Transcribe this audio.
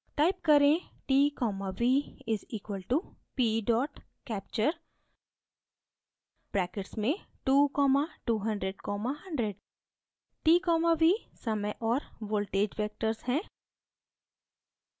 type करें: t v = p capture brackets में 2200100